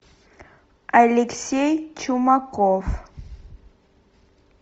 алексей чумаков